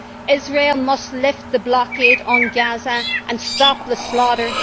Israel must lift the blockade on Gaza and stop the slaughter.